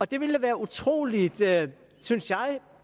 det ville da være utrolig